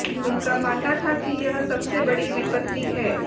उनका मानना था कि यह सबसे बड़ी विपत्ति है